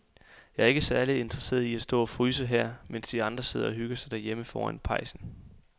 Jeg er ikke særlig interesseret i at stå og fryse her, mens de andre sidder og hygger sig derhjemme foran pejsen.